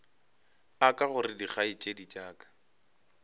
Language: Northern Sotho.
aka gore dikgaetšedi tša ka